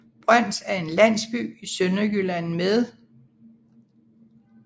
Brøns er en landsby i Sønderjylland med